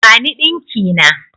Bani ɗinki na!